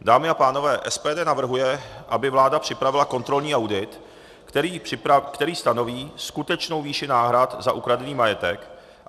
Dámy a pánové, SPD navrhuje, aby vláda připravila kontrolní audit, který stanoví skutečnou výši náhrad za ukradený majetek.